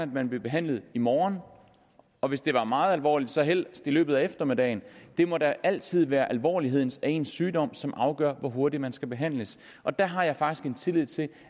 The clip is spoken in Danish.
man blev behandlet i morgen og hvis det var meget alvorligt så helst i løbet af eftermiddagen det må da altid være alvorligheden af ens sygdom som afgør hvor hurtigt man skal behandles og der har jeg faktisk tillid til